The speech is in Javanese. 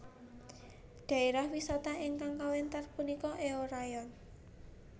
Dhaérah wisata ingkang kawéntar punika Eorayeon